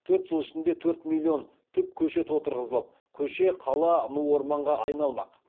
төрт жыл ішінде төрт миллион түп көшет отырғызылып көше қала ну орманға айналмақ